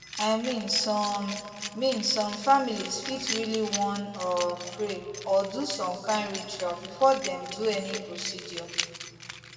i mean some mean some families fit really wan um pray or do some kind ritual before dem do any procedure